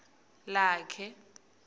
lakhe